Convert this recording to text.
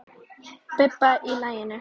Bubba í laginu.